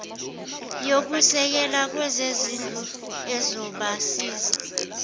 yokusekela kwezezindlu ezobasiza